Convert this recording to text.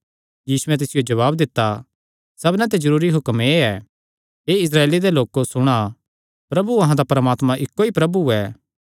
यीशुयैं तिसियो जवाब दित्ता सबना ते जरूरी हुक्म एह़ ऐ हे इस्राएल सुण प्रभु अहां दा परमात्मा इक्को ई प्रभु ऐ